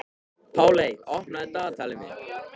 Páley, opnaðu dagatalið mitt.